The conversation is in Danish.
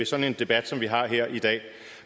sådan en debat som vi har her i dag